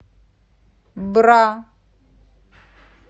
бра